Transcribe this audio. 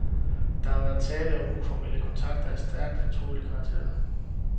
Der har været tale om uformelle kontakter af stærkt fortrolig karakter.